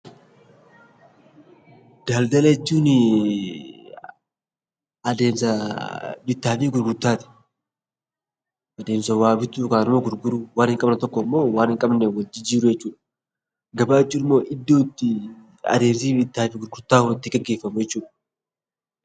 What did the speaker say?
Daldala jechuun adeemsa bittaa fi gurgurtaati. Gabaa jechuun immoo iddootti adeemsi bittaa fi gurgurtaa itti gaggeeffamu jechuudha.